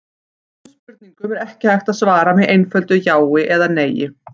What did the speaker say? Þessum spurningum er ekki hægt að svara með einföldu já eða nei.